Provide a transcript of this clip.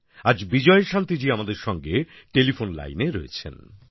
আজ বিজয়শান্তি জি আমাদের সঙ্গে টেলিফোন লাইনে রয়েছেন